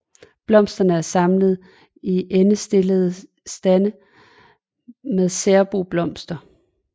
Blomsterne er samlet i endestillede stande med særbo blomster